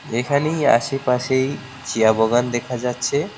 এখানেই আশেপাশেই চা বাগান দেখা যাচ্ছে।